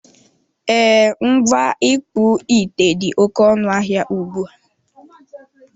E, ngwa ịkpụ ite dị oké ọnụ ahịa ugbua.